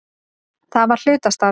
Það var hlutastarf.